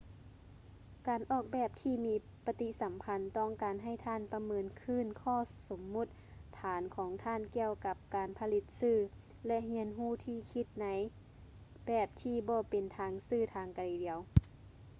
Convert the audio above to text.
ການອອກແບບທີ່ມີປະຕິສຳພັນ ຕ້ອງການໃຫ້ທ່ານປະເມີນຄືນຂໍ້ສົມມຸດຖານຂອງທ່ານກ່ຽວກັບການຜະລິດສື່ ແລະ ຮຽນຮູ້ທີ່ຈະຄິດໃນແບບທີ່ບໍ່ເປັນທາງຊື່ທາງດຽວ